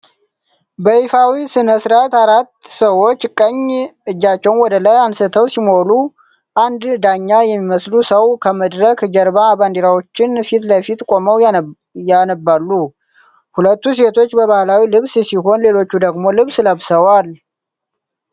በይፋዊ ሥነ ሥርዓት አራት ሰዎች ቀኝ እጃቸውን ወደ ላይ አንስተው ሲምሉ አንድ ዳኛ የሚመስሉ ሰው ከመድረክ ጀርባ ባንዲራዎች ፊት ለፊት ቆመው ያነባሉ። ሁለቱ ሴቶች በባህላዊ ልብስ ሲሆን፣ ሌሎቹ ደግሞ ልብስ ለብሰዋል።